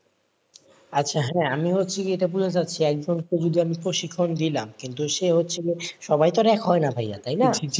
আচ্ছাহেঁ, আমি হচ্ছে কিন্তু সে হচ্ছে যে সবাই তো আর এক হয় না ভাইয়া তাই না,